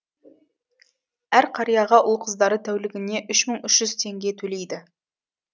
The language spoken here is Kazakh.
әр қарияға ұл қыздары тәулігіне үш мың үш жүз теңге төлейді